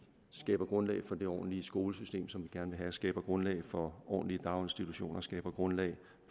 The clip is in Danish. skaber grundlag for det ordentlige skolesystem som vi gerne vil og skaber grundlag for ordentlige daginstitutioner skaber grundlag